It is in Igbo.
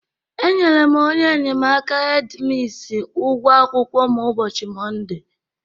Enyere m onye enyemaka hedi misi ụgwọ akwụkwọ m ụbọchị Mọnde.